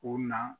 U na